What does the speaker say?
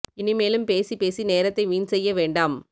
இனிமேலும் பேசி பேசி நேரத்தை வீண் செய்ய வேண்டாம்